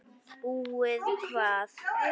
Búið hvað!